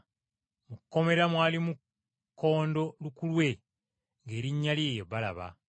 Mu kkomera mwalimu kkondo lukulwe ng’erinnya lye ye Balaba.